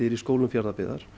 í skólum Fjarðabyggðar